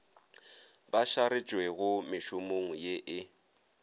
ba šaretšwego mešomong ye e